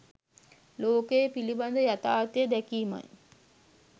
ලෝකය පිළිබඳ යථාර්ථය දැකීමයි.